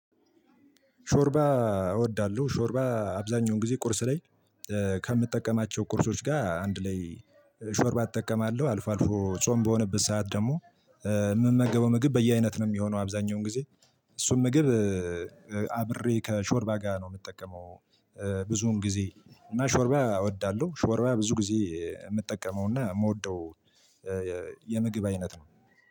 ሾርባ እወዳለሁ ሾርባ አብዛኛውን ጊዜ ቁርስ ላይ ከምጠቀማቸው ቁርሶች ጋር አንድ ላይ ሾርባ እጠቀማለሁ። አልፎ አልፎ ጾም በሆነበት ሰዓት ደግሞ የምመገበው ምግብ በየአይነት ነው የሚሆነው አብዛኛውን ጊዜ እሱን ምግብ አብሬ ከሾርባ ጋር ነው የምጠቀመው ብዙን ጊዜ እና ሾርባ እወዳለሁ ሾርባ ብዙ ጊዜ የምጠቀመውና የምወደው የምግብ አይነት ነው።